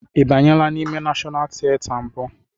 Ị banyela n'ime Nashọnal tieta mbụ?